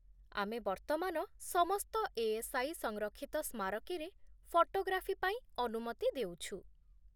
ଆମେ ବର୍ତ୍ତମାନ ସମସ୍ତ ଏ.ଏସ୍.ଆଇ. ସଂରକ୍ଷିତ ସ୍ମାରକୀରେ ଫଟୋଗ୍ରାଫି ପାଇଁ ଅନୁମତି ଦେଉଛୁ।